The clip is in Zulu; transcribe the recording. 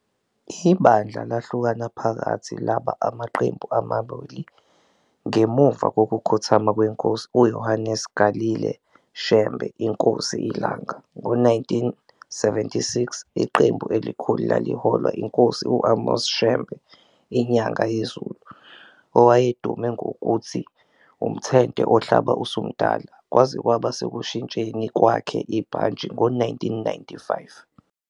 Ibandla lahlukana phakathi laba amaqembu amabili ngemuva kokukhothama kweNkosi uJohannes Galilee Shembe, iNkosi iLanga, ngo-1976. Iqembu elikhulu laliholwa iNkosi u-Amos Shembe, iNyangayezulu, "owayedume ngokuthi umthente ohlabe usumdala" kwaze kwaba sekushintsheni kwakhe ibhantshi ngo-1995.